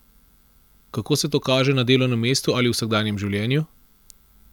Kako se to kaže na delovnem mestu ali v vsakdanjem življenju?